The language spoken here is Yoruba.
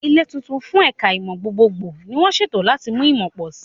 Ilé tuntun fún ẹ̀ka ìmọ̀ gbogbogbò ni wọ́n ṣètò láti mú ìmọ̀ pọ̀ sí i.